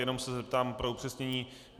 Jenom se zeptám pro upřesnění.